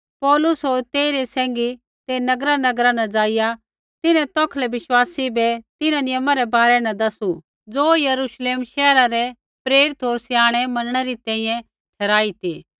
पौलुस होर तेइरै सैंघी ते नगरानगरा न ज़ाइआ तिन्हैं तौखलै बिश्वासी बै तिन्हां नियमा रै बारै न दसू ज़ो यरूश्लेम शैहरा रै प्रेरित होर स्याणै मनणै री तैंईंयैं ठहराई ती